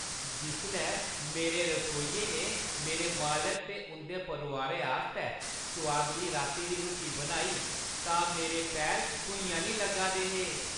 जिसलै मेरे रसोइये ने मेरे मालक ते उंʼदे परोआरै आस्तै सोआदली राती दी रुट्टी बनाई तां मेरे पैर भुञां निं लग्गा दे हे।